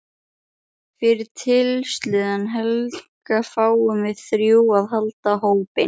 Fyrir tilstuðlan Helga fáum við þrjú að halda hópinn.